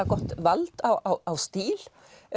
gott vald á stíl